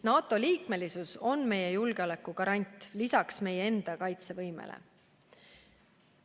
NATO liikmesus on meie julgeoleku garant, lisaks meie enda kaitsevõimele.